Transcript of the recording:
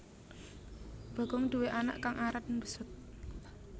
Bagong duwé anak kang aran besut